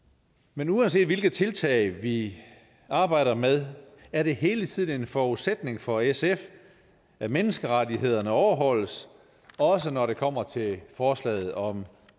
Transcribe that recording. men uanset hvilke tiltag vi arbejder med er det hele tiden en forudsætning for sf at menneskerettighederne overholdes også når det kommer til forslaget om